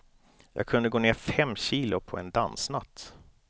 Jag kunde gå ner fem kilo på en dansnatt.